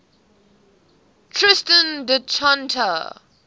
tristan da cunha